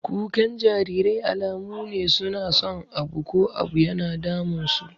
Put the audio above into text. Kukan jarirai alamu ne su na son abu ko abu yana damun su.